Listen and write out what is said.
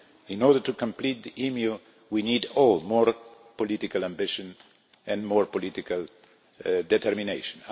In order to complete the EMU, we all need more political ambition and more political determination.